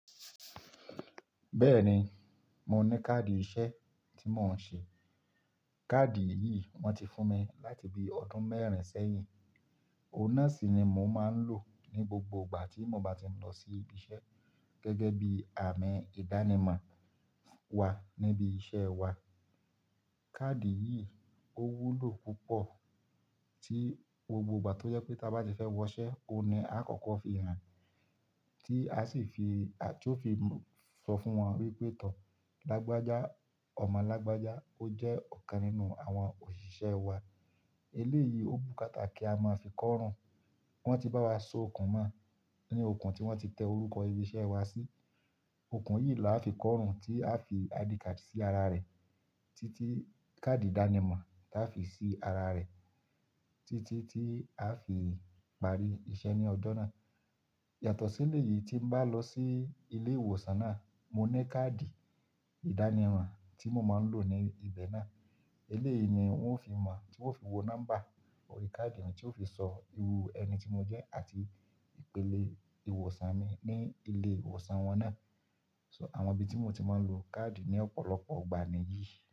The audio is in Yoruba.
Bẹ́ẹ̀ ni, mo ní káàdì iṣẹ́ tí mò ń ṣe. Káàdì yìí wón ti fún mi láti bí ọdún mẹ́rin sẹ́yìn. Òun náà sì ni mò ń máa ń lò ní gbogbo ìgbà tí mo bá ti ń lọ sí ibi iṣẹ́ gẹ́gẹ́ bí àmì ìdánimọ̀ wa níbi iṣẹ́ wa. Káàdì yìí ó wúlò púpọ̀ tí gbogbo ìgbà tó jẹ́ pé tá bá ti fẹ́ wọṣẹ́, òun ni a kọ̀ọ̀kan fi hàn, tí a sì fi, tí ó fi sọ fún wọn wípé tọ̀, lágbájà, ọmọ lágbájá. Ó jẹ́ ọ̀kan nínú àwọn òṣìṣẹ́ wa. Eléyìí ó bùkátá kí a máa fi kọ́ ọrùn. Wọ́n ti bá wa so okùn mọ̀ ní okùn tí wọ́n ti tẹ orúkọ ibi iṣẹ́ wa sí. Okùn yìí làá fi kọ́ ọrùn tí á fi àdikádi sí ara rẹ̀ títí káàdì ìdánimọ̀ tí á fi sí ara rẹ̀, títí tí á fi parí iṣẹ́ ní ọjọ́ náà. Yàtọ̀ sí éleyìí tí ń bá lọ sí ilé ìwòsàn náà, mo ní káàdì ìdánimọ̀ tí mò máa ń lò ní ibẹ̀ náà. Eléyìí ni wọ́n fi mọ̀, tí wọ́n fi wo nọ́mbà orí káàdì mi, tí ó fi so irú ẹni tí mo jẹ́ àti ìpele ìwòsàn mi ní ilé ìwòsàn wọn náà. So àwọn ibi tí mo ti máa ń lo káàdì ní ọ̀pọ̀lọpọ̀ ìgbà ni yìí.